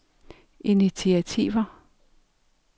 initiativer